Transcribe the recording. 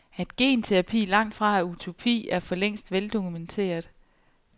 At genterapi langtfra er utopi er for længst veldokumenteret.